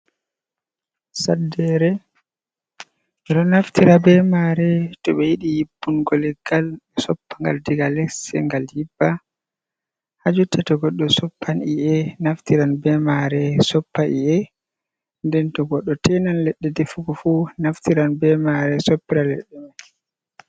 Saddere, ɓe ɗo naftira be mare to ɓe yiɗi yibbungo leggal ɓe soppagal diga les, ngal yibba. Hajotta to goɗɗo soppan i’ƴe naftiran be mare, soppa i'ƴe. Nden to goɗɗo tenan leɗɗe defugo fu naftiran be mare soppira leɗɗe mai.